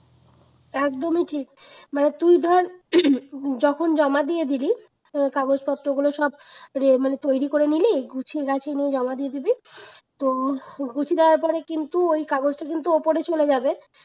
একদমই ঠিক মানে তুই ধর যখন জমা দিয়ে দিলি কাগজপত্রগুলো সব মানে তৈরি করে নিলি গুছিয়ে গাছিয়ে নিয়ে জমা করে দিবি তো গুছিয়ে দেওয়ার পরে কিন্তু ওই কাগজটা কিন্তু উপরে চলে যাবে